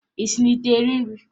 Ị si n'ite eri nri?